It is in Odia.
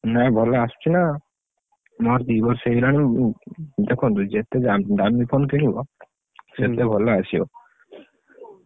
ନାଇ ଭଲ ଆସଚୁନା। ମୋର ଦି ବର୍ଷ ହେଇଗଲାଣି ଉଁ ଦେଖନ୍ତୁ ଯେତେ ଦାମି phone କିଣିବ, ସେତେ ଭଲ ଆସିବ।